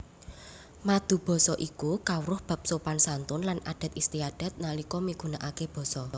Madubasa iku kawruh bab sopan santun lan adat istiadat nalika migunakaké basa